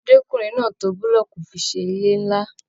Ọmọdékunrin náà tó bulọọku fi ṣe ilé nlá.